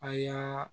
A y'a